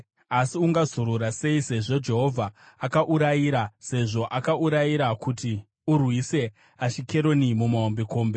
Asi ungazorora sei, Jehovha akaurayira, sezvo akaurayira kuti urwise Ashikeroni namahombekombe?”